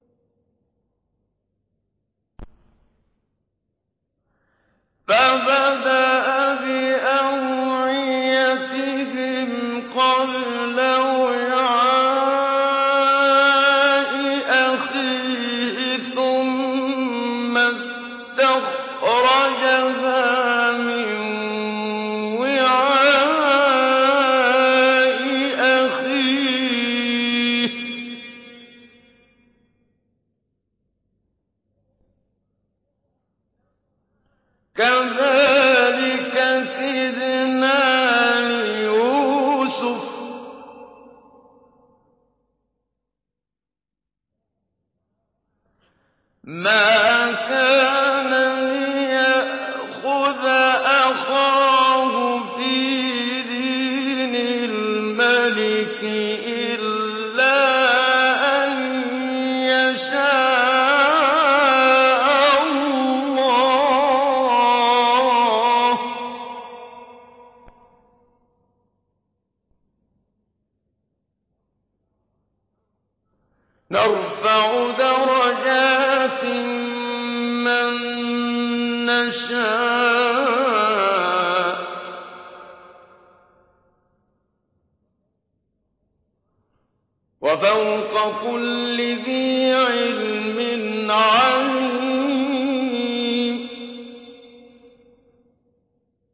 فَبَدَأَ بِأَوْعِيَتِهِمْ قَبْلَ وِعَاءِ أَخِيهِ ثُمَّ اسْتَخْرَجَهَا مِن وِعَاءِ أَخِيهِ ۚ كَذَٰلِكَ كِدْنَا لِيُوسُفَ ۖ مَا كَانَ لِيَأْخُذَ أَخَاهُ فِي دِينِ الْمَلِكِ إِلَّا أَن يَشَاءَ اللَّهُ ۚ نَرْفَعُ دَرَجَاتٍ مَّن نَّشَاءُ ۗ وَفَوْقَ كُلِّ ذِي عِلْمٍ عَلِيمٌ